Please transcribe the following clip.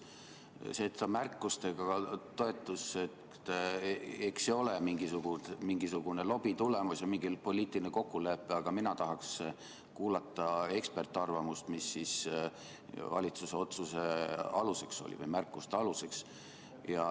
See märkustega toetus, eks see ole mingisuguse lobitöö tulemus ja poliitiline kokkulepe, aga mina tahaks kuulata eksperdiarvamust, mis oli valitsuse otsuse või märkuste aluseks.